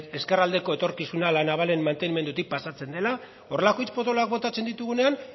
ezkerraldeko etorkizuna la navalen mantenimendutik pasatzen dela horrelako hitz potoloak botatzen ditugunean